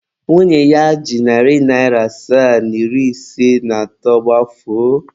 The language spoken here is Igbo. Nwunye ya ji narị naịra asaa na iri ise na atọ gbafuo.